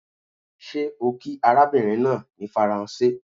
Ṣé ó kí arabinrin naa ní Faranse?